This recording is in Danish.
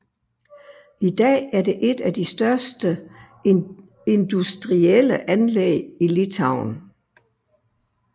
I dag er det et af de største industrielle anlæg i Litauen